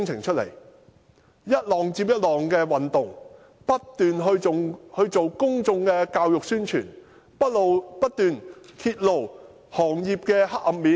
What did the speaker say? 我們進行一浪接一浪的運動，不斷進行公眾教育和宣傳，不斷揭露行業的黑暗面。